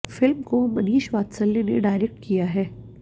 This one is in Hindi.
फ़िल्म को मनीष वात्सल्य ने डायरेक्ट किया है